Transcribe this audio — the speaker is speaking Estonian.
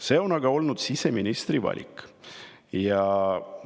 See on aga olnud siseministri valik.